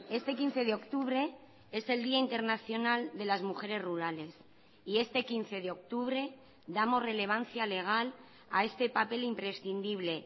este quince de octubre es el día internacional de las mujeres rurales y este quince de octubre damos relevancia legal a este papel imprescindible